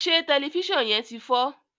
se Tẹlifísàn yén tí fọ?